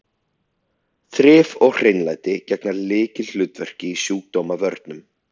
Þrif og hreinlæti gegna lykilhlutverki í sjúkdómavörnum.